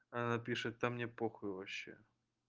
она пишет да мне похуй вообще